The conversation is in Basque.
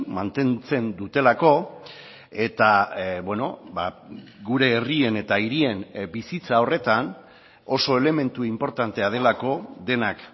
mantentzen dutelako eta gure herrien eta hirien bizitza horretan oso elementu inportantea delako denak